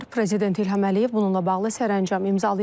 Prezident İlham Əliyev bununla bağlı sərəncam imzalayıb.